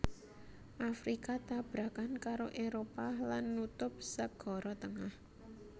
Afrika tabrakan karo Éropah lan nutup Sagara Tengah